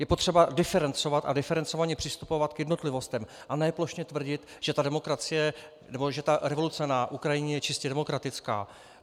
Je potřeba diferencovat a diferencovaně přistupovat k jednotlivostem, a ne plošně tvrdit, že revoluce na Ukrajině je čistě demokratická.